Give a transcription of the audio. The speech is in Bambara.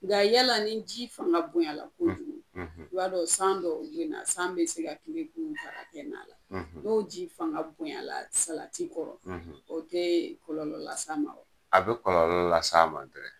Nka yala ni ji fanga bonyala kojugu, i b'a dɔ san dɔw bena, san be se ka ki be binw ka kɛ nala n'o ji fanga bonyala salati kɔrɔ, o tee kɔlɔlɔ las'a ma wa? A bɛ kɔlɔlɔ las'a ma dɛrɛ.